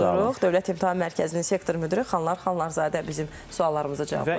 Dövlət İmtahan Mərkəzinin sektor müdiri Xanhlar Xanlarzadə bizim suallarımıza cavablandı.